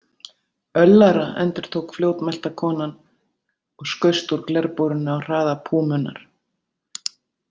Öllara, endurtók fljótmælta konan og skaust úr glerbúrinu á hraða púmunnar.